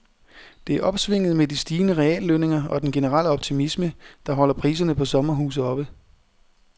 Det er opsvinget med de stigende reallønninger og den generelle optimisme, der holder priserne på sommerhuse oppe.